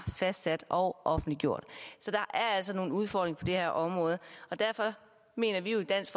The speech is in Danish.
fastsat og offentliggjort så der er altså nogle udfordringer på det her område og derfor mener vi jo i dansk